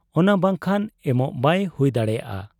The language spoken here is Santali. ᱚᱱᱟ ᱵᱟᱝᱠᱷᱟᱱ ᱮᱢᱚᱜ ᱵᱟᱭ ᱦᱩᱭ ᱫᱟᱲᱮᱭᱟᱜ ᱟ ᱾